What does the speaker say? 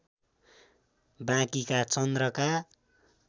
बाँकीका चन्द्रका